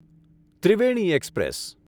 Triveni express